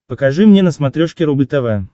покажи мне на смотрешке рубль тв